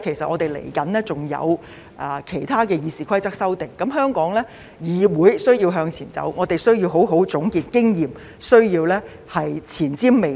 我們接下來還有其他關於《議事規則》的修訂，香港議會需要向前走，我們亦需要好好總結經驗，需要前瞻未來。